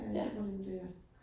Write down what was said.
Ja, tror jeg nemlig, det er